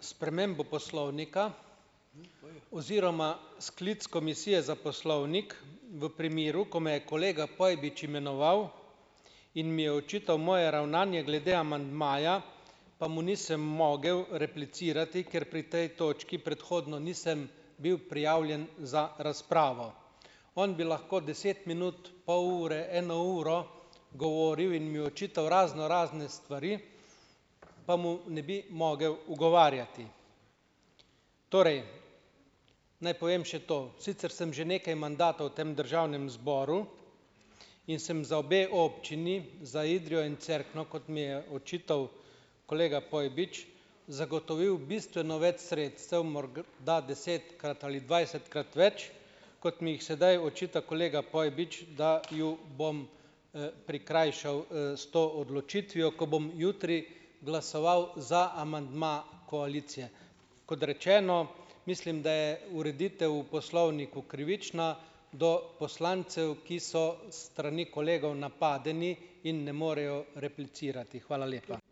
spremembo poslovnika oziroma sklic Komisije za poslovnik v primeru, ko me je kolega Pojbič imenoval in mi je očital moje ravnanje glede amandmaja, pa mu nisem mogel replicirati, ker pri tej točki predhodno nisem bil prijavljen za razpravo. On bi lahko deset minut, pol ure, eno uro govoril in mi očital raznorazne stvari, pa mu ne bi mogel ugovarjati. Torej naj povem še to, sicer sem že nekaj mandatov v tem državnem zboru in sem za obe občini, za Idrijo in Cerkno, kot mi je očital kolega Pojbič, zagotovil bistveno več sredstev, morda desetkrat ali dvajsetkrat več, kot mi jih sedaj očita kolega Pojbič, da jo bom, prikrajšal, s to odločitvijo, ko bom jutri glasoval za amandma koalicije. Kot rečeno, mislim, da je ureditev v poslovniku krivična do poslancev, ki so s strani kolegov napadeni in ne morejo replicirati. Hvala lepa.